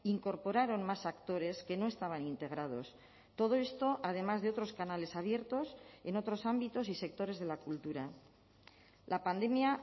incorporaron más actores que no estaban integrados todo esto además de otros canales abiertos en otros ámbitos y sectores de la cultura la pandemia